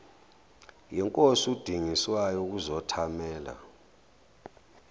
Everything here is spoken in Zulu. yinkosi udingiswayo ukuzothamela